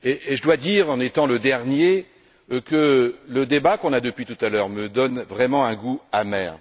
Je dois dire, en étant le dernier, que le débat que nous tenons depuis tout à l'heure me donne vraiment un goût amer.